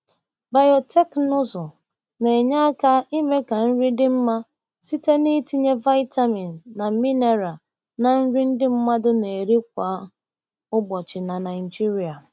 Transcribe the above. Biotekịnụzụ na-enye aka ime ka nri dị mma site n’itinye vitamin na mineral na nri ndị mmadụ na-eri kwa ụbọchị na Naijiria.